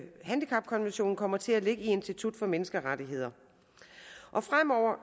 handicapkonventionen kommer til at ligge i institut for menneskerettigheder fremover